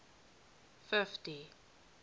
fifty